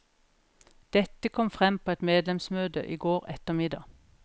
Dette kom frem på et medlemsmøte i går ettermiddag.